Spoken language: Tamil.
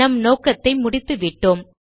நம் நோக்கத்தை முடித்து விட்டோம்